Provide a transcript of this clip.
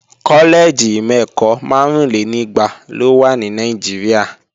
Kọ́lẹ́ẹ̀jì ìmọ̀-ẹ̀kọ́ márúnlénígba ló wà ní Nàìjíríà